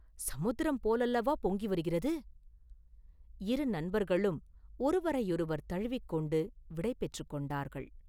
சமுத்திரம் போலவல்லவா பொங்கி வருகிறது?” இரு நண்பர்களும் ஒருவரையொருவர் தழுவிக் கொண்டு விடை பெற்றுக் கொண்டார்கள்.